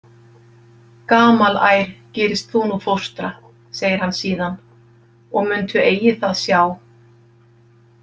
Gamalær gerist þú nú fóstra, segir hann síðan, og muntu eigi það sjá.